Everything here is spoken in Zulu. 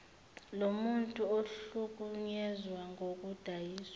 lomuntu ohlukunyezwe ngokudayiswa